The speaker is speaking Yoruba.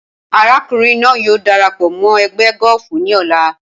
Arákùnrin náà yóò darapọ̀ mọ́ ẹgbẹ́ gọ́ọ̀fù ní ọ̀la